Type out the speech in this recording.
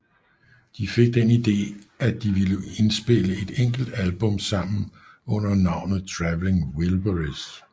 De fik den ide at de ville indspille et enkelt album sammen under navnet Traveling Wilburys